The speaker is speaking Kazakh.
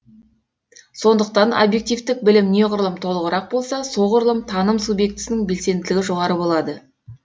сондықтан объективтік білім неғұрлым толығырақ болса соғұрлым таным субъектісінің белсенділігі жоғары болады